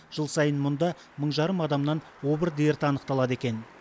жыл сайын мұнда мың жарым адамнан обыр дерті анықталады екен